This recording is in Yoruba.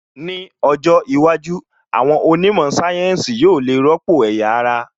Ní ọjọ́ iwájú, àwọn onímọ̀ sáyẹ́ǹsì yóò le rọ́pò ẹ̀yà ara